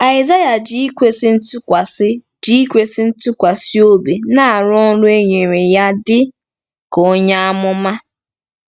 Aịzaya ji ikwesị ntụkwasị ji ikwesị ntụkwasị obi na-arụ ọrụ e nyere ya dị ka onye amụma.